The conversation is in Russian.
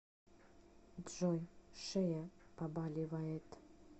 джой шея побаливает